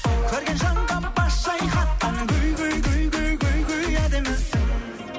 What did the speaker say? көрген жанға бас шайқатқан әдемісің